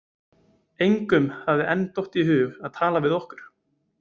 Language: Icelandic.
Engum hafði enn dottið í hug að tala við okkur.